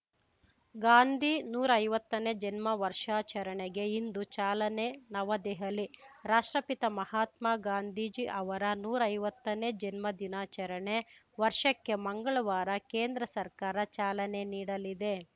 ಗಾಂಧೀ ನೂರಾ ಐವತ್ತನೇ ಜನ್ಮ ವರ್ಷಾಚರಣೆಗೆ ಇಂದು ಚಾಲನೆ ನವದೆಹಲಿ ರಾಷ್ಟ್ರಪಿತ ಮಹಾತ್ಮ ಗಾಂಧೀಜಿ ಅವರ ನೂರಾ ಐವತ್ತನೇ ಜನ್ಮದಿನಾಚರಣೆ ವರ್ಷಕ್ಕೆ ಮಂಗಳವಾರ ಕೇಂದ್ರ ಸರ್ಕಾರ ಚಾಲನೆ ನೀಡಲಿದೆ